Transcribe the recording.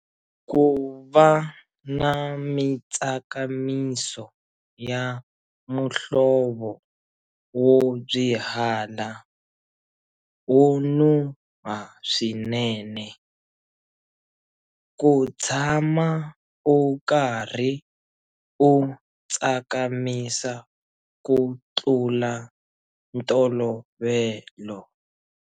Ku va na mitsakamiso ya muhlovo wo byihala, wo nuha swinene. Ku tshama u karhi u tsakamisa ku tlula ntolovelo.